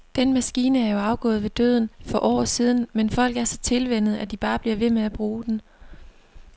Den maskine er jo afgået ved døden for år siden, men folk er så tilvænnet, at de bare bliver ved med at bruge den.